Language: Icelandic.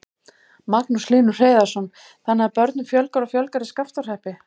Magnús Hlynur Hreiðarsson: Þannig að börnum fjölgar og fjölgar í Skaftárhreppi?